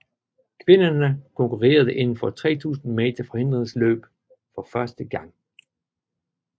Kvinderne konkurrerede indenfor 3000 meter forhindringsløb for første gang